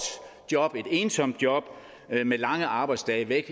job et ensomt job med lange arbejdsdage væk